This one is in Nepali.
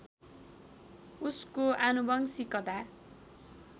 उसको आनुवंशिकता